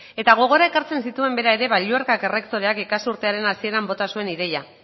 eta gogora ekartzen zituen bera ere balluerka errektoreak ikasturtearen hasieran bota zuen ideia